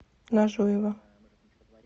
нажуева